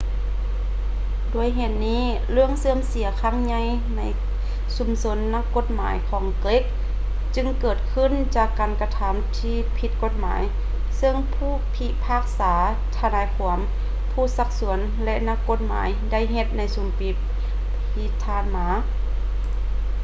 ດ້ວຍເຫດນີ້ ເລື່ອງເສື່ອມເສຍຄັ້ງໃຫຍ່ໃນຊຸມຊົນນັກກົດໝາຍຂອງເກຣັກຈຶ່ງເກີດຂຶ້ນຈາກການກະທຳທີ່ຜິດກົດໝາຍເຊິ່ງຜູ້ພິພາກສາ ທະນາຍຄວາມ ຜູ້ຊັກຊວນ ແລະ ນັກກົດໝາຍໄດ້ເຮັດໃນຊຸມປີທີ່ຜ່ານມາ